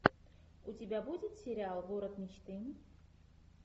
у тебя будет сериал город мечты